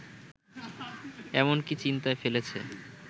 এমনকি চিন্তায় ফেলেছে